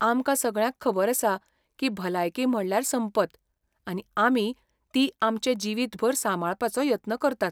आमकां सगळ्यांक खबर आसा की भलायकी म्हणल्यार संपत, आनी आमी ती आमचे जिवीतभर सांबाळपाचो यत्न करतात.